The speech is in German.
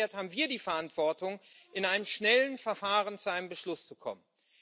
Und umgekehrt haben wir die Verantwortung, in einem schnellen Verfahren zu einem Beschluss zu kommen.